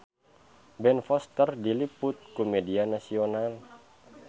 Ben Foster diliput ku media nasional